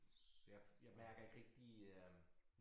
Så jeg jeg mærker ikke rigtig øh